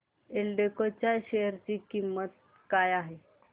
एल्डेको च्या शेअर ची किंमत काय आहे